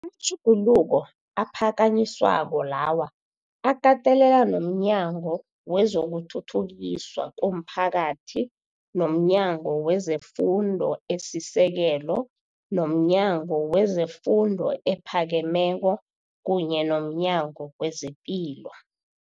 matjhuguluko aphakanyiswako lawa akatelela nomNyango wezokuThuthukiswa komPhakathi, nomNyango wezeFundo eSisekelo, nomNyango wezeFundo ePhakemeko kunye nomNyango wezePilo